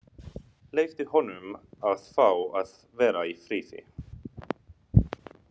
Leyfðu honum að fá að vera í friði.